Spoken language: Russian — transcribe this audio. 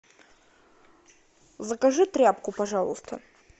закажи тряпку пожалуйста